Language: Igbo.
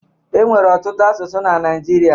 E nwere ọtụtụ asụsụ na Naịjirịa